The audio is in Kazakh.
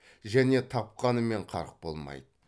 және тапқанымен қарқ болмайды